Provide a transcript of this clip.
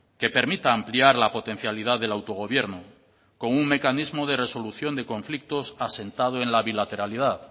que permita ampliar la potencialidad del autogobierno con un mecanismo de resolución de conflictos asentado en la bilateralidad